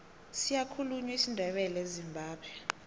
siyakhulunywa isindebele ezimbabwe